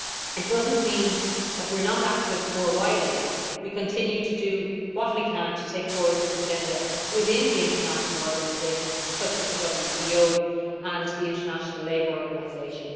It does not mean that we are not active more widely. We continue to do what we can to take forward this agenda within the international organisations such as the WTO and the International Labour Organisation.